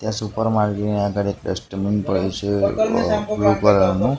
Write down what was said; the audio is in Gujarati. ત્યાં સુપર માર્કેટ ની આગળ એક ડસ્ટબિન પડ્યુ છે બ્લુ કલર નું.